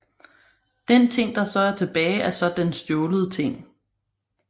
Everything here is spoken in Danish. Den ting der så er tilbage er så den stjålet ting